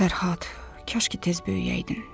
Fərhad, kaş ki tez böyüyəydin.